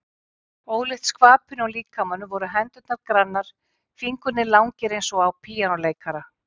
Ólíkt skvapinu á líkamanum voru hendurnar grannar, fingurnir langir eins og á píanóleikara.